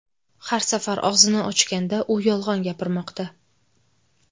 Har safar og‘zini ochganda, u yolg‘on gapirmoqda.